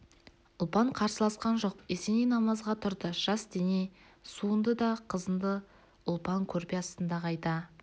ұлпан қарсыласқан жоқ есеней намазға тұрды жас дене суынды да қызынды ұлпан көрпе астына қайта